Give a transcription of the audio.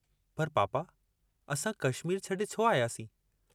पर पापा, असां कश्मीर छॾे छो आयासीं।